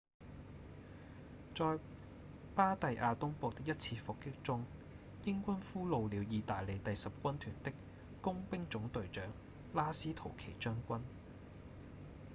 在巴第亞東部的一次伏擊中英軍俘虜了義大利第十軍團的工兵總隊長拉斯圖奇將軍